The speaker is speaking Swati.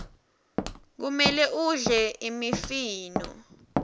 kumele udle imifino